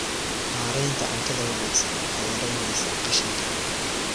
Maareynta cuntada wanaagsan waxay yaraynaysaa qashinka.